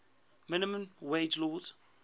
minimum wage laws